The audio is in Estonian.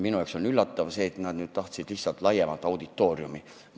Minu arvates nad nüüd tahtsid lihtsalt laiemat auditooriumi.